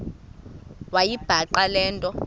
wayibhaqa le nto